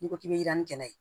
N'i ko k'i bɛ yaarani ye